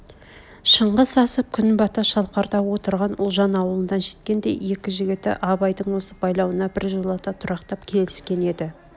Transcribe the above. шыңғыс асып күн бата шалқарда отырған ұлжан аулына жеткенде екі жігіті абайдың осы байлауына біржолата тұрақтап келіскен еді